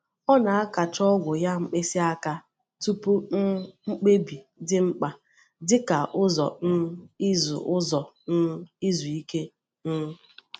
Ọ na-akàcha ogwù ya mkpịsị aka tupu um mkpebi dị mkpa dị ka ụzọ um izu ụzọ um izu ike. um